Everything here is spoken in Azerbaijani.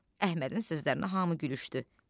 Əhmədin sözlərinə hamı gülüşdü.